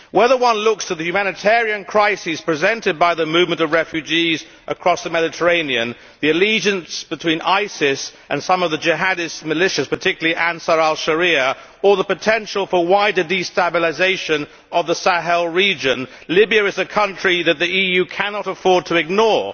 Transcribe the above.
Whether one looks to the humanitarian crisis presented by the movement of refugees across the Mediterranean, the allegiance between ISIS and some of the jihadist militias particularly Ansar al Sharia or the potential for wider destabilisation of the Sahel region, Libya is a country that the EU cannot afford to ignore.